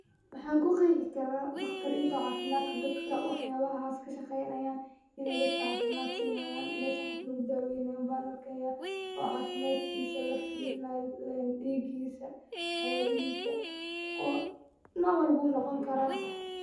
Maxaan ku qeexi karaa daqtarinta cafimaadka dadka waxaas kashaqeynayaan, inaay dadka cafimaad siinayaan, meeshan qof lagu dawynaayo unbaa arkaaya oo cafimaadkiisa lafirinaayo diigisa wax yaabahiisa oo nooc walbo wuu noqon karaa.